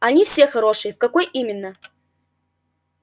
они все хорошие в какой именно